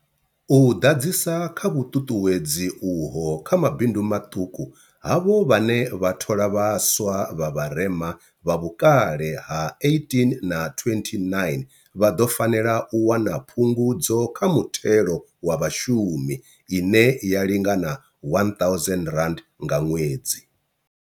U ḓadzisa kha vhuṱuṱuwedzi uho kha mabindu maṱuku, havho vhane vha thola vhaswa vha vharema, vha vhukale ha vhukati ha 18 na 29, vha ḓo fanela u wana Phungudzo kha Muthelo wa Vhashumi ine ya lingana R1 000 nga ṅwedzi.